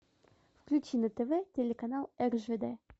включи на тв телеканал ржд